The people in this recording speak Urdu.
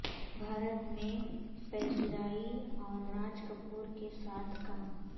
بھارت میں پذیرائی اور راج کپور کے ساتھ کام